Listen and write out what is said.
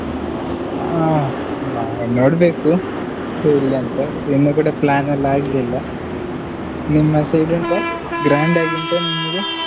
ಆ ನಾವ್ ನೋಡ್ಬೇಕು ಎಲ್ಲಿ ಅಂತ ಇನ್ನೂ ಕೂಡ plan ಎಲ್ಲಾ ಆಗ್ಲಿಲ್ಲ ನಿಮ್ಮ side ಉಂಟಾ? grand ಆಗಿ ಉಂಟಾ ನಿಮ್ಗೇ?